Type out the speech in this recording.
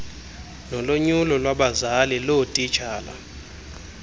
nolonyulo lwabazali loootitshala